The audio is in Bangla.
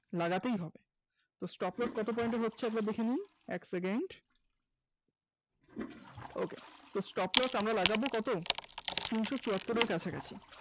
লাগাতেই হবে, তো stop loss কত point এর হচ্ছে দেখেনি এক secondok তো stop loss আমরা লাগাবো কত? তিনশ ছুয়াত্তর এর কাছাকাছি